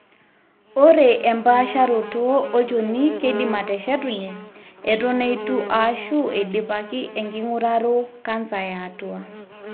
ore empaasharoto olchoni keidim aateshetunye eton eitu ashu eidipaki enking'uraro cancer eatua